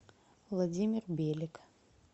владимир белик